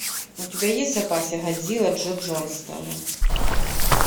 у тебя есть в запасе годзилла джо джонстона